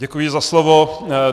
Děkuji za slovo.